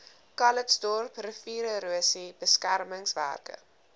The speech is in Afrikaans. calitzdorp riviererosie beskermingswerke